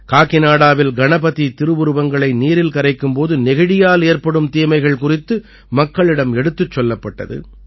காகிநாடாவில் கணபதி திருவுருவங்களை நீரில் கரைக்கும் போது நெகிழியால் ஏற்படும் தீமைகள் குறித்து மக்களிடம் எடுத்துக் கூறப்பட்டது